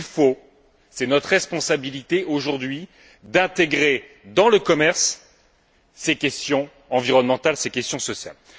il faut donc c'est notre responsabilité aujourd'hui intégrer dans le commerce ces questions environnementales et ces questions sociales.